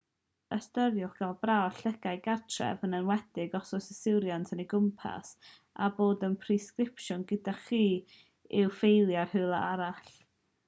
ystyriwch gael prawf llygaid gartref yn enwedig os yw yswiriant yn ei gwmpasu a dod â'r presgripsiwn gyda chi i'w ffeilio rywle arall